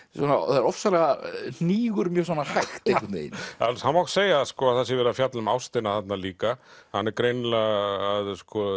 þetta hnígur mjög hægt einhvern veginn það má segja að það sé verið að fjalla um ástina þarna líka hann er greinilega að